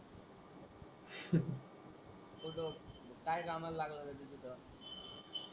काय कामाला लागलेला तिथं?